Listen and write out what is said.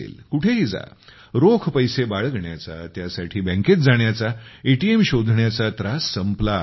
कुठेही जा रोख पैसे बाळगण्याचा त्यासाठी बँकेत जाण्याचा एटीएम शोधण्याचा त्रास संपला आहे